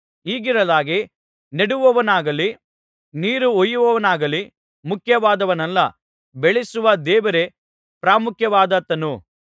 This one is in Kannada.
ಹೀಗಿರಲಾಗಿ ನೆಡುವವನಾಗಲಿ ನೀರುಹೊಯ್ಯುವವನಾಗಲಿ ಮುಖ್ಯವಾದವನಲ್ಲ ಬೆಳೆಸುವ ದೇವರೇ ಪ್ರಾಮುಖ್ಯವಾದಾತನು